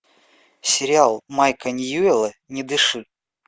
сериал майка ньюэлла не дыши